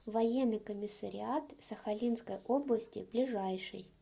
военный комиссариат сахалинской области ближайший